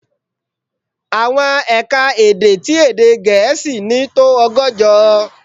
Àwọn è̀ka-èdè tí èdè Gẹ̀ẹ́sì ní tó ọgọ́jọ.